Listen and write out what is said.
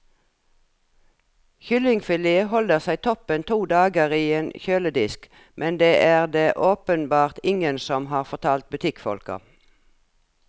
Kyllingfilet holder seg toppen to dager i en kjøledisk, men det er det åpenbart ingen som har fortalt butikkfolka.